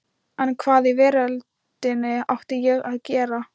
En hvað í veröldinni átti ég að gera?